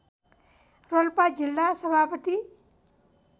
रोल्पा जिल्ला सभापति